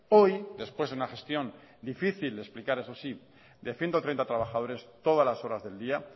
hoy después de una gestión difícil de explicar eso sí de ciento treinta trabajadores todas las horas del día